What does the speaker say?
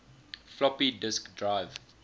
floppy disk drive